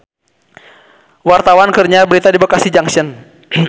Wartawan keur nyiar berita di Bekasi Junction